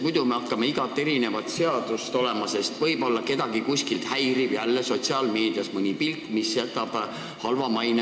Muidu me hakkame kõiki seadusi eraldi muutma, sest võib-olla kedagi kuskil häirib jälle sotsiaalmeedias mõni pilt, mis jätab Eestist halva maine.